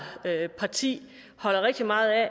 parti holder rigtig meget af